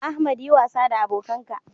Ahmad yi wasa da abokanka